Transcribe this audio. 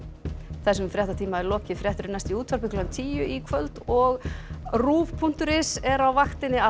þessum fréttatíma er lokið fréttir eru næst í útvarpi klukkan tíu í kvöld og ruv punktur is er á vaktinni